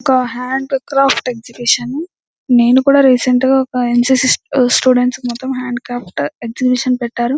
ఒక hand craft exhibition నేనుకూడా recent గ ఒక యెన్సిసి స్టూడెంట్స్ కి మొత్తం హ్యాండ్ క్రాఫ్ట్ ఎక్సహింబిషన్ పెట్టారు.